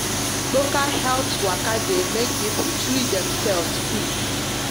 local health waka de make people treat themselves quick